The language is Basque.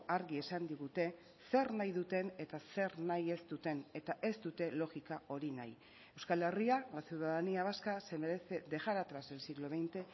argi esan digute zer nahi duten eta zer nahi ez duten eta ez dute logika hori nahi euskal herria la ciudadanía vasca se merece dejar atrás el siglo veinte